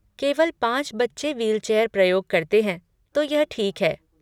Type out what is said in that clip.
केवल पाँच बच्चे व्हीलचेयर प्रयोग करते हैं, तो यह ठीक है।